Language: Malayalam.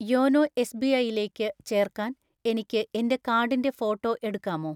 യോനോ എസ്.ബി.ഐയിലേക്ക് ചേർക്കാൻ എനിക്ക് എൻ്റെ കാർഡിൻ്റെ ഫോട്ടോ എടുക്കാമോ?